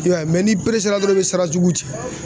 I y'a ye mɛ n'i peresela dɔrɔn i bi sara jugu cɛ